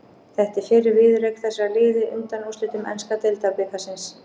Þetta er fyrri viðureign þessara liða í undanúrslitum enska deildabikarsins.